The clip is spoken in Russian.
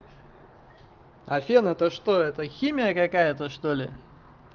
а фен это что это химия какая-то что ли